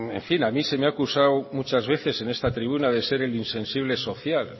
en fin a mí se me ha acusado muchas veces en esta tribuna de ser el insensible social